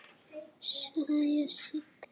Saga Sig.